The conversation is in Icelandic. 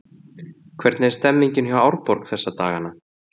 Hvernig er stemmningin hjá Árborg þessa dagana?